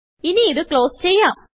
ഇനിയിത് close ചെയ്യാം